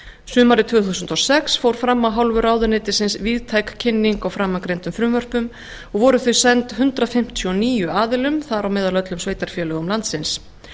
sumarið tvö þúsund og sex fór fram af hálfu ráðuneytisins víðtæk kynning á framangreindum frumvörpum og voru þau send hundrað fimmtíu og níu aðilum þar á meðal öllum sveitarfélögum landsins